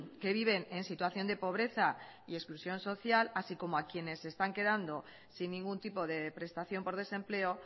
que viven en situación de pobreza y exclusión social así como a quienes se están quedando sin ningún tipo de prestación por desempleo